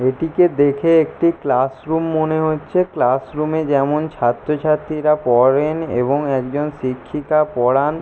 এটিকে দেখে একটি ক্লাসরুম মনে হচ্ছে। ক্লাসরুমে যেমন ছাত্রছাত্রীরা পড়েন এবং একজন শিক্ষিকা পড়ান ।